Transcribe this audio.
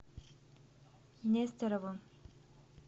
нестеровым